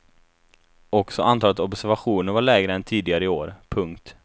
Också antalet observationer var lägre än tidigare år. punkt